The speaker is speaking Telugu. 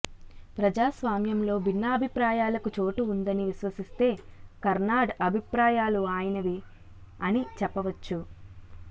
ప్రజాస్వామ్యంలో భిన్నాభిప్రాయాలకు చోటు ఉందని విశ్వసిస్తే కర్నాడ్ అభిప్రాయాలు ఆయనవి అని చెప్పవచ్చు